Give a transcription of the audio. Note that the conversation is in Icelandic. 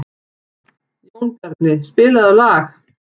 Jónbjarni, spilaðu lag.